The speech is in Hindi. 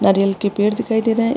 नारियल के पेड़ दिखाई दे रहे है।